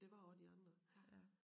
Der var også de andre ja